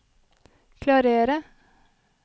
klarere